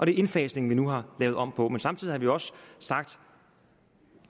indfasningen vi nu har lavet om på men samtidig har vi også sagt